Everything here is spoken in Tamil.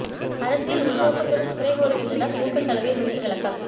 அரசியல் உள்நோக்கத்துடன் குறை கூறுகின்றனர் ஊக்கச் சலுகை குறித்து விளக்கம்